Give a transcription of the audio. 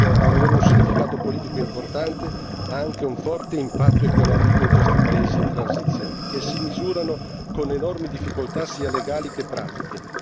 Oltre ad avere un significato politico importante, esso ha anche un forte impatto economico in questi paesi in transizione che si misurano con enormi difficoltà sia legali sia pratiche.